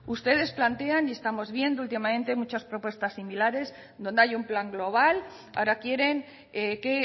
ustedes plantean y estamos viendo últimamente muchas propuesta similares donde hay un plan global ahora quieren que